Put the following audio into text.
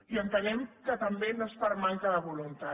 i entenem també que no és per manca de voluntat